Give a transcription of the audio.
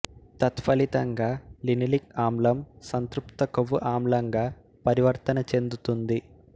తత్ఫలితంగా లినిలిక్ ఆమ్లం సంతృప్త కొవ్వు ఆమ్లంగా పరివర్తన చెందుతుంది